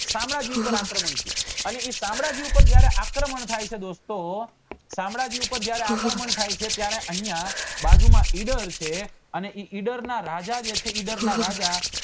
શામળાજી ઉપર આક્રમણ થયું અને એ શામળાજી ઉપર જયારે આક્રમણ થાય છે દોસ્તો શામળાજી ઉપર આક્રમણ થાય છે ત્યારે અહિયાં બાજુ માં ઇડર છે અને એ ઇડર ના રાજા જે છે એ ઇડર ના રાજા